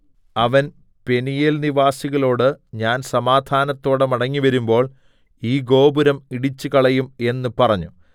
അവൻ പെനീയേൽനിവാസികളോട് ഞാൻ സമാധാനത്തോടെ മടങ്ങിവരുമ്പോൾ ഈ ഗോപുരം ഇടിച്ചുകളയും എന്ന് പറഞ്ഞു